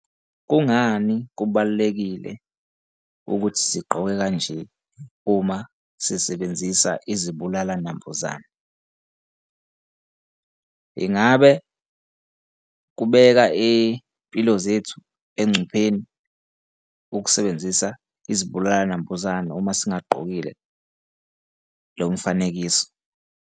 Kungani kubalulekile ukuthi sigqoke kanje uma sisebenzisa izibulala nambuzane? Ingabe kubeka iy'mpilo zethu engcupheni ukusebenzisa izibulala nambuzane uma singagqokile lo mfanekiso?